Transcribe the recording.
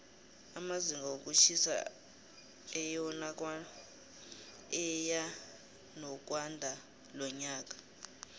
amazinga wokutjhisa eyanokwandalonyaka